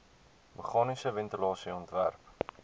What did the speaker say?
meganiese ventilasie ontwerp